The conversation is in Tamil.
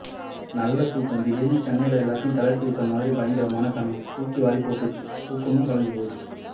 நல்ல துாக்கம் திடீர்னு சென்னையில் எல்லாத்தையும் தளர்த்திட்ட மாதிரி பயங்கரமான கனவு துாக்கிவாரிப்போட்டுருச்சு துாக்கமும் கலைஞ்சு போச்சு